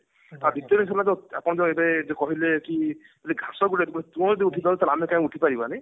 ଆପଣ ଯୋଉ ଏବେ ଯୋଉ କହିଲେ କି ଯଦି ଘାସ ଗୋଟେ ତୃଣ ଅଟେ ଉଠି ପାରୁଛି ତ ଆମେ କାଇଁ ଉଠି ନ ପାରିବାନି